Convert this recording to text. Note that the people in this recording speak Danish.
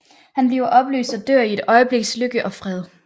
Han bliver opløst og dør i et øjebliks lykke og fred